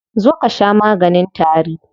Zo ka sha maganin tari.